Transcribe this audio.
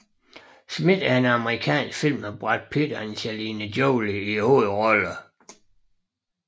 Smith er en amerikansk film med Brad Pitt og Angelina Jolie i hovedrollerne